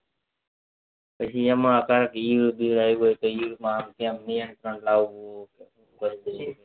પછી એમાં ઈયર બીયર આવી હોય તો એમાં આમ તેમ નિયતન લાવું છે